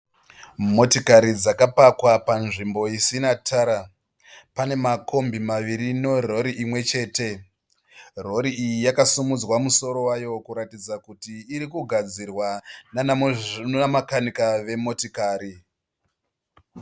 Motikari dzakapakwa panzvimbo isina tara. Pane makombi maviri nerori imwechete. Rori iyi yakasimudzwa musoro wayo kuratidza kuti irikugadzirwa nanamakanika vemotokari.